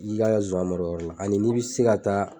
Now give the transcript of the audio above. I k'i ka zonsan mara yɔrɔ la ani n'i bɛ se ka taa.